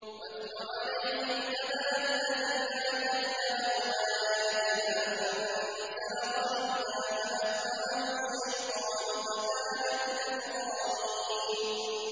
وَاتْلُ عَلَيْهِمْ نَبَأَ الَّذِي آتَيْنَاهُ آيَاتِنَا فَانسَلَخَ مِنْهَا فَأَتْبَعَهُ الشَّيْطَانُ فَكَانَ مِنَ الْغَاوِينَ